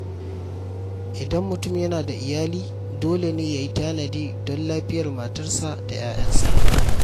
Idan mutum yana da iyali, dole ne ya yi tanadi don lafiyar matarsa da ‘ya’yansa.